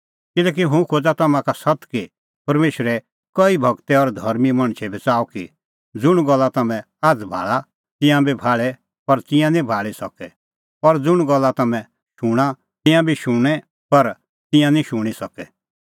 किल्हैकि हुंह खोज़ा तम्हां का सत्त कि परमेशरे कई गूरै और धर्मीं मणछै बी च़ाहअ कि ज़ुंण गल्ला तम्हैं आझ़ भाल़ा तिंयां बी भाल़े पर तिंयां निं भाल़ी सकै और ज़ुंण गल्ला तम्हैं शूणां तिंयां बी शुणें पर तिंयां निं शूणीं सकै